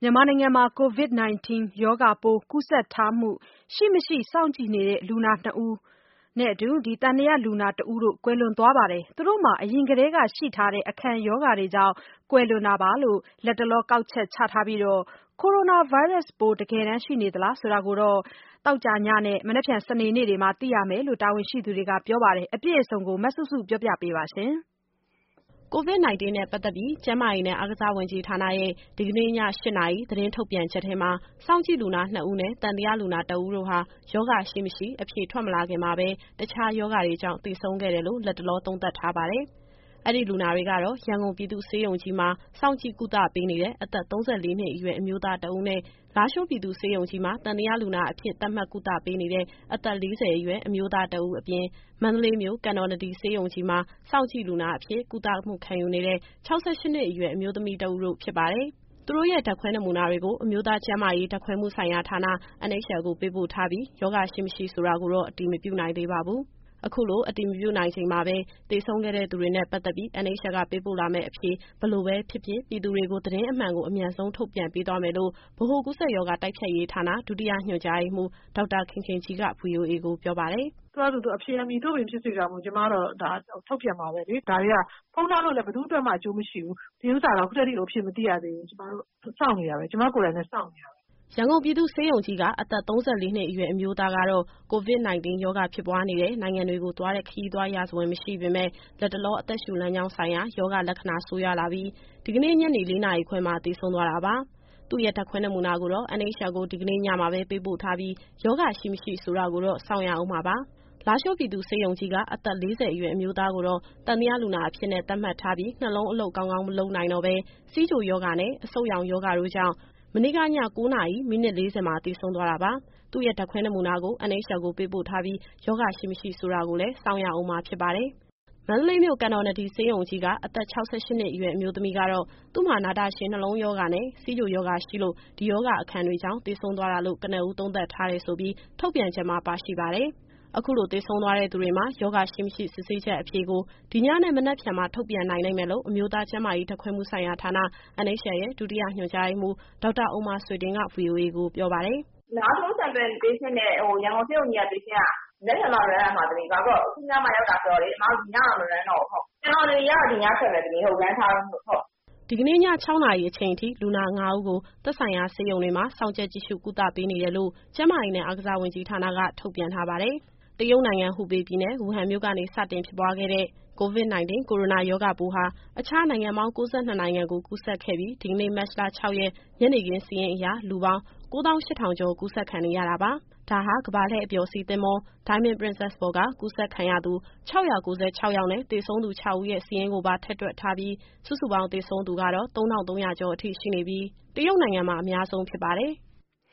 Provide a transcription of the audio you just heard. မြန်မာနိုင်ငံမှာ COVID-19 ရောဂါပိုး ကူးစက်ထားမှုရှိမရှိ စောင့်ကြည့်နေတဲ့ လူနာ ၂ ဦးနဲ့ သံသယလူနာ တဦးတို့ ကွယ်လွန်သွားပါတယ်။ သူတို့မှာ အရင်ကတည်းက ရှိထားတဲ့ အခံရောဂါတွေကြောင့် ကွယ်လွန်တာလို့ လတ်တလော ကောက်ချက်ချထားပြီး ကိုရိုနာဗိုင်းရပ်စ်ပိုး တကယ်တမ်း ရှိနေသလား ဆိုတာကတော့ သောကြာညနဲ့ စနေနေ့တွေမှာ သိရမယ်လို့ တာဝန်ရှိသူတွေက ပြောပါတယ်။ အပြည့်အစုံကို မစုစုက ဆက်ပြောပြပါမယ်။ COVID- 19 နဲ့ ပတ်သက်ပြီး ကျန်းမာရေးနဲ့ အားကစားဝန်ကြီးဌာနရဲ့ ဒီကနေ့ည ၈ နာရီ သတင်းထုတ်ပြန်ချက်ထဲမှာ စောင့်ကြည့်လူနာ ၂ ဦးနဲ့ သံသယလူနာ ၁ ဦးတို့ဟာ ရောဂါရှိ၊ မရှိ အဖြေမထွက်ခင်ကာလမှာပဲ တခြားရောဂါတွေကြောင့် သေဆုံးခဲ့တယ်လို့ လတ်တလော သုံးသပ်ထားပါတယ်။ အဲဒီလူနာတွေကတော့ ရန်ကုန်ပြည်သူ့ဆေးရုံကြီးမှာ စောင့်ကြည့်ကုသပေးနေတဲ့ အသက် ၃၄ နှစ်အရွယ် အမျိုးသား တဦးနဲ့ လားရှိုးပြည်သူ့ဆေးရုံကြီးမှာ သံသယလူနာအဖြစ် သတ်မှတ်ကုသပေးနေတဲ့ အသက် ၄၀ အရွယ်အမျိုးသား တဦးအပြင် မန္တလေးမြို့၊ ကန်တော်နဒီဆေးရုံကြီးမှာ စောင့်ကြည့်လူနာအဖြစ် ကုသမှုခံယူနေတဲ့ ၆၈ နှစ်အရွယ် အမျိုးသမီး တဦးတို့ ဖြစ်ပါတယ်။ သူတို့ရဲ့ ဓာတ်ခွဲနမူနာတွေကို အမျိုးသားကျန်းမာရေး ဓာတ်ခွဲမှုဆိုင်ရာ ဌာန NHL ကို ပေးပို့ထားပြီး ရောဂါရှိ မရှိဆိုတာကိုတော့ အတည်မပြုနိုင်သေးပါဘူး။ အခုလို အတည်မပြုနိုင်ချိန်မှာ သေဆုံးခဲ့ သူတွေနဲ့ ပတ်သက်ပြီး NHL က ပေးပို့လာမယ့် အဖြေ ဘယ်လိုပဲဖြစ်ဖြစ် ပြည်သူတွေကို သတင်းအမှန်ကို အမြန်ဆုံး ထုတ်ပြန်ပေးသွားမယ်လို့ ဗဟိုကူးစက်ရောဂါ တိုက်ဖျက်ရေးဌာန ဒုတိယညွှန်ကြားရေးမှူး ဒေါက်တာခင်ခင်ကြီးက ဗွီအိုအေကိုပြောပါတယ်။ “သူ့ဟာသူ အဖြေသည် မည်သို့ပင်ဖြစ်စေကာမူ ကျမတို့ကတော့ ဒါကိုထုတ်ပြန်မှာပဲလေ။ ဒါတွေက ဖုံးထားလို့လည်း ဘယ်သူ့အတွက်မှ အကျိုးမရှိဘူး။ ဒီဥစ္စာက ခုထက်ထိကို အဖြေမသိရသေးဘူး။ ကျမကိုယ်တိုင်လည်း စောင့်နေတာပဲ။” ရန်ကုန်ပြည်သူ့ဆေးရုံကြီးက အသက် ၃၄ နှစ်အရွယ် အမျိုးသားကတော့ COVID- 19 ရောဂါ ဖြစ်ပွားနေတဲ့ နိုင်ငံတွေကိုသွားတဲ့ ခရီးသွားရာဇဝင် မရှိပေမဲ့ လတ်တလော အသက်ရှု လမ်းကြောင်းဆိုင်ရာရောဂါ လက္ခဏာ ဆိုးရွားလာပြီး ဒီကနေ့ ညနေ ၄နာရီခွဲမှာ သေဆုံးသွားတာပါ။ သူ့ရဲ့ ဓာတ်ခွဲနမူနာကိုတော့ NHL ကို ဒီကနေ့ ညမှာပဲ ပေးပို့ထားပြီး ရောဂါရှိ မရှိဆိုတာကိုတော့ စောင့်ရဦးမှာပါ။ လားရှိုးပြည်သူ့ဆေးရုံကြီးက အသက် ၄၀ အရွယ် အမျိုးသားကိုတော့ သံသယလူနာအဖြစ်နဲ့ သတ်မှတ်ထားပြီး နှလုံးအလုပ်ကောင်းကောင်း မလုပ်နိုင်တော့ဘဲ ဆီးချိုရောဂါနဲ့ အဆုတ်ရောင်ရောဂါတို့ကြောင့် မနေ့က ည ၉ နာရီ မိနစ် ၄၀ မှာ သေဆုံးသွားတာပါ။ သူ့ရဲ့ ဓာတ်ခွဲနမူနာကို NHL ကို ပေးပို့ထားပြီး ရောဂါရှိ မရှိဆိုတောကိုလည်း စောင့်ရဦးမှာ ဖြစ်ပါတယ်။ မန္တလေးမြို့၊ ကန်တော်နဒီဆေးရုံကြီးက အသက် ၆၈ နှစ်အရွယ် အမျိုးသမီးကတော့ သူ့မှာ နာတာရှည်နှလုံးရောဂါနဲ့ ဆီးချိုရောဂါရှိလို့ ဒီရောဂါအခံတွေကြောင့် သေဆုံးသွားတာလို့ ကနဦးသုံးသပ်ထားတယ်လို့ ထုတ်ပြန်ချက်မှာ ပါရှိပါတယ်။ အခုလိုသေဆုံးသွားတဲ့ သူတွေမှာ ရောဂါရှိ မရှိစစ်ဆေးချက်အဖြေကို ဒီညနဲ့ မနက်ဖြန်မှာ ထုတ်ပြန်နိုင်လိမ့်မယ်လို့ အမျိုးသားကျန်းမာရေး ဓာတ်ခွဲမှုဆိုင်ရာဌာန NHL ရဲ့ ဒုတိယညွှန်ကြားရေးမှူး ဒေါက်တာဥမ္မာဆွေတင်က ဗွီအိုအေကိုပြောပါတယ်။ “လားရှိုးက လူနာရဲ့ Sample နဲ့ ရန်ကုန်ဆေးရုံကြီးက လူနာ Sample က မနက်ဖြန်မှ Run ရမှာ။ ဘာဖြစ်လို့လည်းဆိုတော့ အခုညမှရောက်တာ ဆိုတော့လေ အစ်မတို့ ဒီညတော့ မRunတော့ဘူး။ ကန်တော်နဒီကတော့ ဒီညထွက်မယ် Run ထားတုန်းမို့လို့။” ဒီကနေ့ ည ၆ နာရီအချိန်အထိ လူနာ ၅ ဦးကို သက်ဆိုင်ရာဆေးရုံတွေမှာ စောင့်ကြပ်ကြည့်ရှု ကုသမှုပေးနေတယ်လို့ ကျန်းမာရေးနဲ့ အားကစားဝန်ကြီးဌာနက ထုတ်ပြန်ထားပါတယ်။ တရုတ်နိုင်ငံ၊ ဟူပေပြည်နယ်၊ ဝူဟန်မြို့နေ စတင်ဖြစ်ပွားခဲ့တဲ့ COVID- 19 ကိုရိုနာရောဂါပိုးဟာ အခြားနိုင်ငံပေါင်း ၉၂ နိုင်ငံကို ကူးစက်ခဲ့ပြီး ဒီကနေ့ မတ်လ ၆ရက် ညနေခင်းစာရင်းအရ လူပေါင်း ၉၈,၈၇၆ ကူးစက်ခံနေရတာပါ။ ဒါဟာ ကမ္ဘာလှည့်အပျော်စီး သင်္ဘော Diamond Princess ပေါ်က ကူးစက်ခံရသူ ၆၉၆ ယောက်နဲ့ သေဆုံးသူ ၆ ဦးရဲ့ စာရင်းကိုပါ ထည့်တွက်ထားပြီး စုစုပေါင်း သေဆုံးသူကတော့ ၃,၃၉၀ အထိရှိနေပြီး တရုတ်နိုင်ငံမှာ အများဆုံးဖြစ်ပါတယ်။